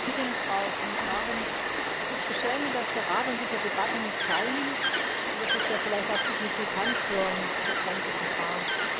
Frau Präsidentin, Frau Kommissarin! Es ist beschämend, dass der Rat an dieser Debatte nicht teilnimmt. Und es ist ja vielleicht auch signifikant für das ganze Verfahren.